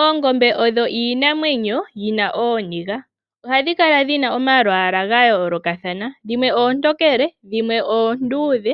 Oongombe odho iinamwenyo yi na ooniga, ohadhi kala dhi na omalwaala ga yoolokathana, dhimwe oontokele, dhimwe oonduudhe,